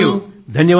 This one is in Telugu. thank you